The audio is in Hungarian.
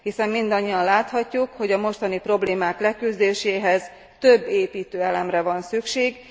Hiszen mindannyian láthatjuk, hogy a mostani problémák leküzdéséhez több építőelemre van szükség.